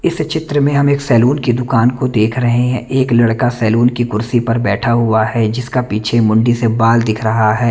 इस चित्र में हम एक सलून की दूकान को देख रहे हैं एक लड़का सलून की कुर्सी पर बेठा हुआ है जिसका पीछे मुंडी से बाल दिख रहा है।